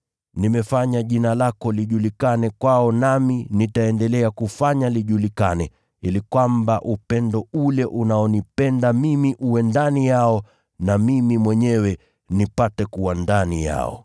Nimefanya jina lako lijulikane kwao nami nitaendelea kufanya lijulikane, ili kwamba upendo ule unaonipenda mimi uwe ndani yao na mimi mwenyewe nipate kuwa ndani yao.”